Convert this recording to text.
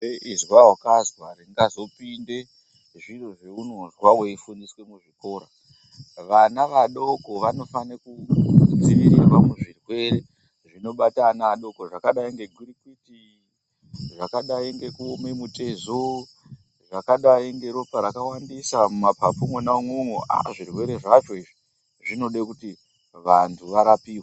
Izwa wakazwa ringazopinde zviro zveunozwa weifundiswe muzvikoro. Vana vadoko vanofane kudzivirirwa muzvirwere zvinobata ana adoko zvakadayi ngegwirikwiti, zvakadai ngekuome mutezo, zvakadai ngeropa rakawandisa mumapapu mwona umwomwo. Ah, zvirwere zvacho izvi zvinode kuti vantu varapiwe.